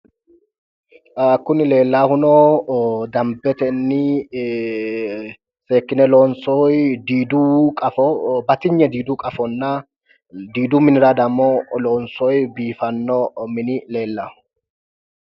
Kuni leellaahuno dambetenni seekkine loonsoyi diidu qafo batinye diidu qafonna diidu minira dammo loonsoyi biifanno mini leellawo.